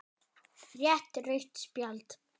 Rétt rautt spjald?